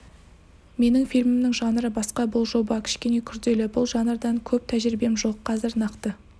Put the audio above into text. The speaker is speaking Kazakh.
менің фильмімнің жанры басқа бұл жоба кішкене күрделі бұл жанрдан көп тәжірибем жоқ қазір нақты